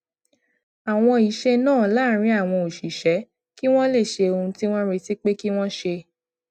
àwọn iṣé náà láàárín àwọn òṣìṣé kí wón lè ṣe ohun tí wón retí pé kí wón ṣe